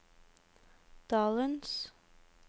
dalens